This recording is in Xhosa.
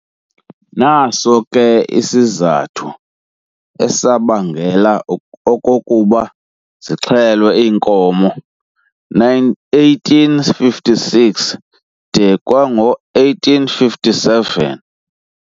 Naso ke esona sizathu esabangela okokuba zixhelwe iinkomo 1856 de kwango-1857.